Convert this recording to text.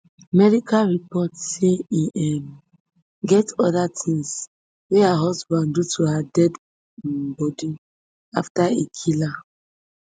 medical reports say e um get oda tins wey her husband do to her deadi um body afta e kill her